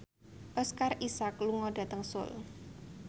Oscar Isaac lunga dhateng Seoul